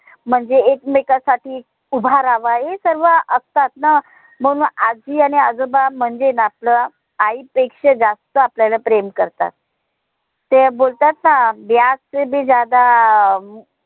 म्हणजे एकमेकांसाठी उभा राहावा हे सर्व असतात ना म्हणून आजी आणि आजोबा म्हणजेन आपल आई पेक्षा जास्त आपल्याला प्रेम करतात. ते बोलतात ना ब्याज से भी ज्यादा अं